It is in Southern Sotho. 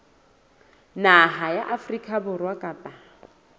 naha ya afrika borwa kapa